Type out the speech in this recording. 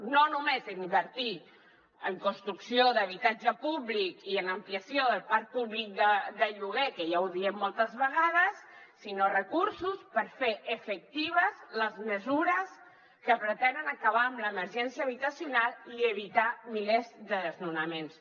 no només en invertir en construcció d’habitatge públic i en ampliació del parc públic de lloguer que ja ho diem moltes vegades sinó recursos per fer efectives les mesures que pretenen acabar amb l’emergència habitacional i evitar milers de desnonaments